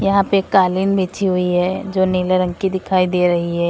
यहां पे कालीन बिछी हुई है जो नीले रंग की दिखाई दे रही है।